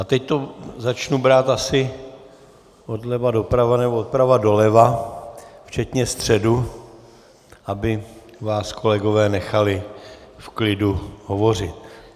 A teď to začnu brát asi odleva doprava, nebo doprava doleva, včetně středu, aby vás kolegové nechali v klidu hovořit.